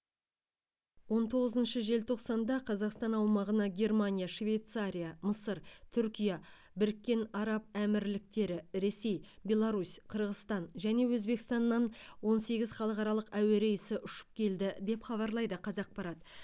он тоғызыншы желтоқсанда қазақстан аумағына германия швейцария мысыр түркия біріккен араб әмірліктері ресей беларусь қырғызстан және өзбекстаннан он сегіз халықаралық әуе рейсі ұшып келді деп хабарлайды қазақпарат